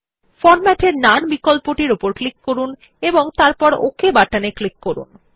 format এ none বিকল্প উপর ক্লিক করুন এবং তারপর ওক বাটনে ক্লিক করুন